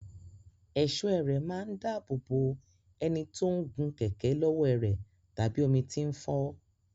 Ẹ̀ṣọ́ ẹrẹ̀ máa ń dáàbò bò ẹni tó ń gun kẹ̀kẹ́ lọ́wọ́ ẹrẹ̀ tàbí omi tí ń fọ́